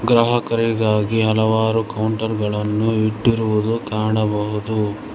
ಗ್ರಾಹಕರಿಗಾಗಿ ಹಲವಾರು ಕೌಂಟರ್ ಗಳನ್ನು ಇಟ್ಟಿರುವುದು ಕಾಣಬಹುದು.